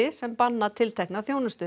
sem banna tiltekna þjónustu